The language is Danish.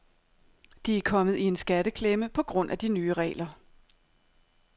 De er kommet i en skatteklemme på grund af de nye regler.